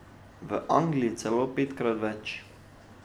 V Angliji celo petkrat več.